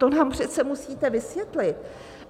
To nám přece musíte vysvětlit.